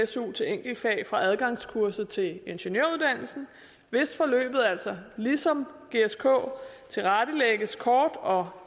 su til enkeltfag for adgangskurset til ingeniøruddannelsen hvis forløbet altså ligesom gsk tilrettelægges kort og